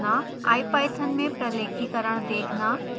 ipython में प्रलेखीकरण देखना